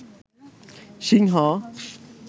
সিংহ